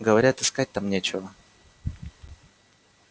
говорят искать там нечего